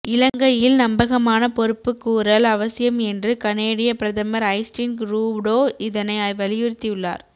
இலங்கையில் நம்பகமான பொறுப்புக்கூறல் அவசியம் என்று கனேடிய பிரதமர் ஜஸ்டின் ரூடோ இதனை வலியுறுத்தியுள்ளார்